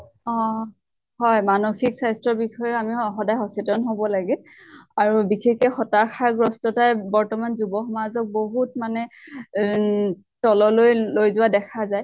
অ হয় মানসিক স্বাস্থ্য়ৰ বিষয়েআমি সদায় স সচেতন হʼব লাগে। আৰু বিশেষ কে হতশা গ্ৰস্থতা বৰ্তমান যুৱ সমাজক বহুত মানে এহ তললৈ লৈ যোৱা দেখা যায়।